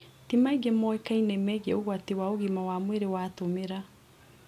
Ti maingĩ moĩkaine megie ũgwati wa ũgima wa mwĩrĩ watũmĩra.